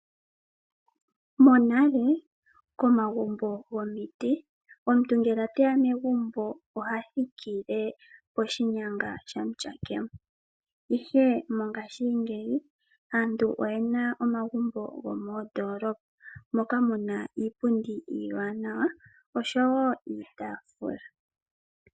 Monale komagumbo gomiti, omuntu ngele oteya megumbo oha thikile poshinyanga sha mutyakemo. Ihe mongaashingeyi aantu oye na omagumbo gomoondolopa, moka muna iipundi iiwanawa osho wo iitaafula.